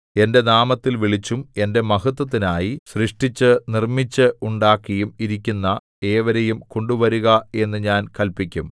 എന്റെ നാമത്തിൽ വിളിച്ചും എന്റെ മഹത്ത്വത്തിനായി സൃഷ്ടിച്ചു നിർമ്മിച്ചു ഉണ്ടാക്കിയും ഇരിക്കുന്ന ഏവരെയും കൊണ്ടുവരുക എന്നു ഞാൻ കല്പിക്കും